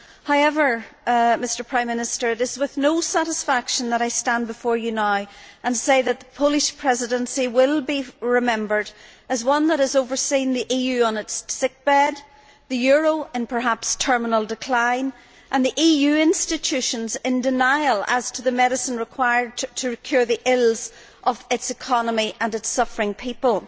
However, Prime Minister, it is with no satisfaction that I stand before you now and say that the Polish Presidency will be remembered as one that has overseen the EU on its sickbed, the euro in perhaps terminal decline, and the EU institutions in denial as to the medicine required to cure the ills of its economy and its suffering people.